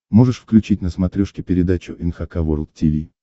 можешь включить на смотрешке передачу эн эйч кей волд ти ви